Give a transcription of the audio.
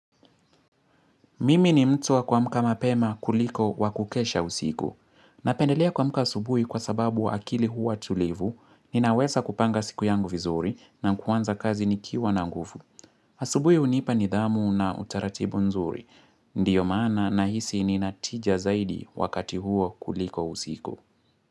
Mimi ni mtu wa kuamka mapema kuliko wa kukesha usiku. Napendelea kuamka asubui kwa sababu akili huwa tulivu. Ninawesa kupanga siku yangu vizuri na kuanza kazi nikiwa na ngufu. Asubui hunipa nidhamu na utaratibu nzuri. Ndiyo maana na hisi nina tija zaidi wakati huo kuliko usiku.